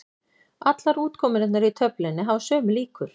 Allar útkomurnar í töflunni hafa sömu líkur.